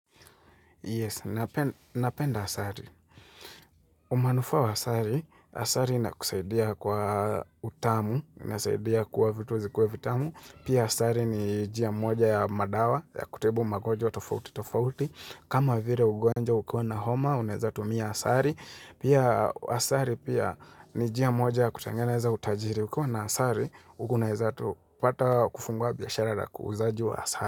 Yes, napenda asali. Umanufaa wa asari, asari ina kusaidia kwa utamu, ina saidia kuwa vitu zikuwe vitamu. Pia asari ni jia moja ya madawa, ya kutibu magonjwa tofauti tofauti. Kama vire ugonjwa ukiwa na homa, unaeza tumia asari. Pia asari pia ni njia moja ya kutangeneza utajiri. Ukiwa na asari, unaeza tupata kufungwa biashara na kuzaji wa asari.